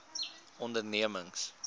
ondernemings